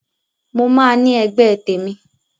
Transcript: Mo máa ní ẹgbẹ́ tèmi